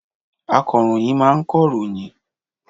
Akọ̀ròyìn máa ń kọ ròyìn